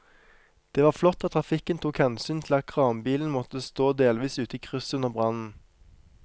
Det var flott at trafikken tok hensyn til at kranbilen måtte stå delvis ute i krysset under brannen.